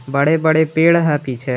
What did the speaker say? बड़े बड़े पेड़ है पीछे।